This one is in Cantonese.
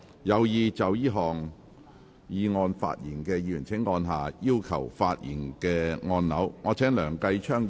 有意就這項議案發言的議員請按下"要求發言"按鈕。